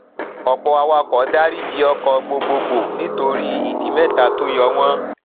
ọpọ awakọ daríjì ọkọ gbogbogbò nítorí ìdí mẹta tó yọ wón